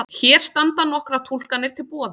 Hér standa nokkrar túlkanir til boða.